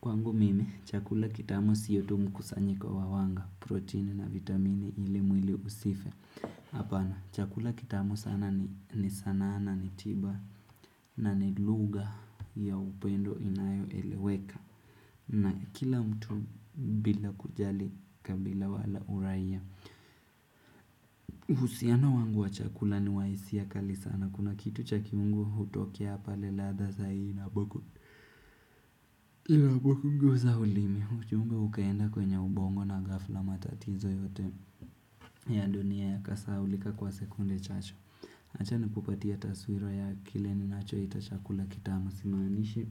Kwangu mimi, chakula kitamu siyo tu mkusanyiko wa wanga, proteini na vitamini ili mwili usife. Hapana, chakula kitamu sana ni sanaana ni tiba na ni luga ya upendo inayo eleweka. Na kila mtu bila kujali kabila wala uraia. Uhusiano wangu wa chakula ni wa hisia kali sana. Kuna kitu cha kiungu hutokea pale ladha za hii na boku zaulimi. Ujumbe ukaenda kwenye ubongo na ghafla, matatizo yote ya dunia ya kasahaulika kwa sekunde chache. Acha nikupatie taswira ya kile nina choita chakula kitamu, simaniishi,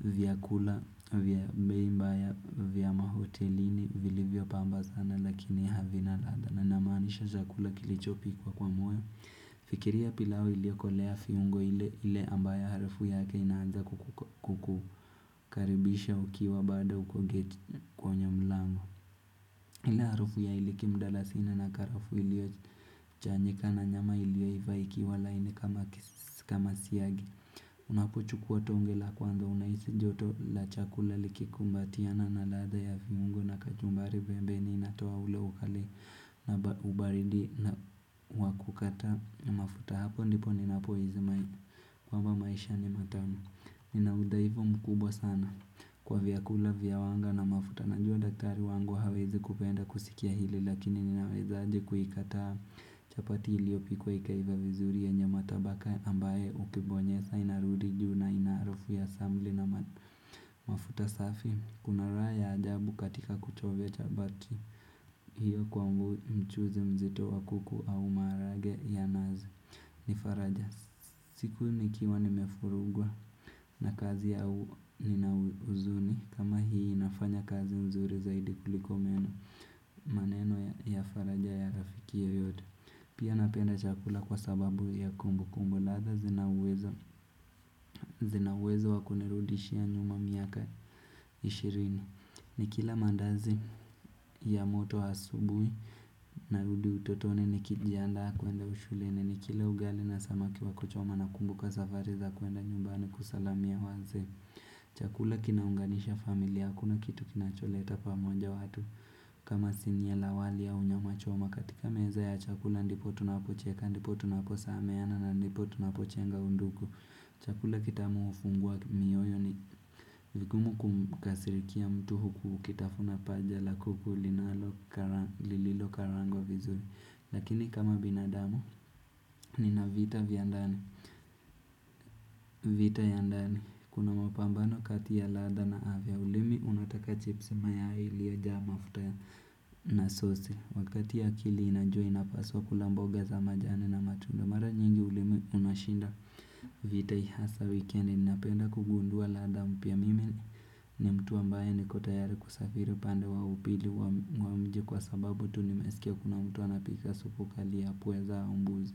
vyakula vya bei mbaya vya mahotelini, vilivyo pamba sana lakini havina ladha. Namaanisha chakula kilicho pikwa kwa moyo. Fikiria ya pilao iliokolea viungo, ile ambaye harufu yake inaanza kukukaribisha ukiwa bado uko geti, kwenye mlango ile harafu ya iliki, mdalasi na karafuu iliyo chanyika na nyama ilio iva kiwa laini kama siagi. Unapuchukua tonge la kwanza, unahisi joto la chakula likikumbatiana na ladha ya viungo na kachumbari. Pembeni inatoa ule ukali na ubaridi na waku kata mafuta, hapo ndipo nina pohisi kwamba mba maisha ni matamu. Nina udhaifu mkubwa sana, kwa vyakula vya wanga na mafuta. Najua daktari wangu hawezi kupenda kusikia hili lakini ninaweza aje kuikataa? Chapati iliyo pikwa ikaiva vizuri yenye matabaka, ambaye ukibonyeza inarudi juu na ina harufu ya samli na mafuta safi. Kuna raya ajabu katika kuchovia chapati. Hiyo kwangu, mchuzi mzito wa kuku au maharagwe ya nazi. Nifaraja, siku nikiwa nimevurugwa na kazi au nina huzuni, kama hii inafanya kazi mzuri zaidi kuliko meno. Maneno ya faraja ya rafiki yoyote. Pia napenda chakula kwa sababu ya kumbukumbu. Ladha zina uwezo wakunirudishia nyuma miaka ishirini. Nikila maandazi ya moto asubuhi. Narudi utotoni. Nikijiandaa kwenda shuleni, nilikila ugali na samaki wa kuchoma na kumbuka safari za kwenda nyumbani kusalamia wazee. Chakula kinaunganisha familia, hakuna kitu kinacho leta pamoja watu kama sinia la wali au nyama choma. Katika meza ya chakula ndipo tunapocheka, ndipo tunapo sameheana na ndipo tunapo njenga undugu. Chakula kitamu ufungua mioyo. Ni vigumu kukasirikia mtu huku ukitafuna paja la kuku lililo karangwa vizuri. Lakini kama binadamu nina vita viandani. Vita ya ndani. Kuna mapambano kati ya ladha na afya. Ulimi unataka chipsi, mayai ilio jaa mafuta ya na sosi. Wakati akili inajua inapaswa kula mboga za majani na matunda. Mara nyingi ulimi unashinda vita, hasa weekendi. Ninapenda kugundua ladha mpya. Mimi ni mtu ambaye niko tayari kusafiri upande wa upili wa mji, kwa sababu tu nimesikia kuna mtu anapika supu kali ya pweza au mbuzi.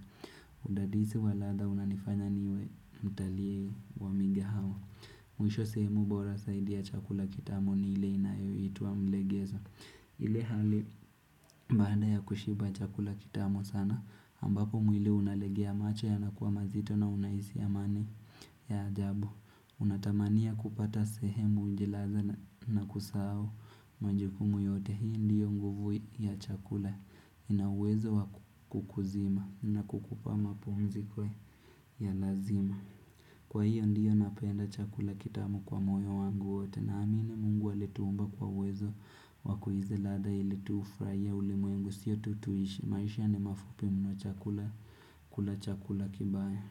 Udadisi wa ladha unanifanya niwe mtalii wa mige hawa. Mwisho sehemu bora saidi ya chakula kitamu ni ile inayo itwa mlegeza. Ile hali baada ya kushiba chakula kitamu sana, ambapo mwili unalegea, macho ya nakua mazito na unahisi amani ya ajabu Unatamania kupata sehemu ujjilaze na kusau majukumu yote. Hii ndiyo nguvu ya chakula. Ina uwezo wakukuzima na kukupa mapumziko. Ya lazima. Kwa hiyo, ndiyo napenda chakula kitamu kwa moyo wangu wote. Naamini Mungu aliye tuumba kwa uwezo wakuhisi ladha ili tufurahie ulimwengu, sio tu tuishi. Maisha ni mafupi mno, chakula kula chakula kibaya.